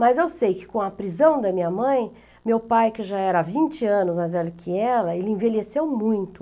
Mas eu sei que com a prisão da minha mãe, meu pai que já era vinte anos mais velho que ela, ele envelheceu muito.